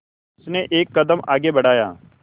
उसने एक कदम आगे बढ़ाया